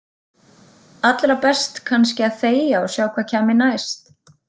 Allra best kannski að þegja og sjá hvað kæmi næst.